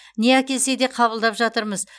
не әкелсе де қабылдап жатырмыз